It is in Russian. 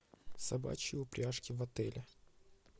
собачьи упряжки в отеле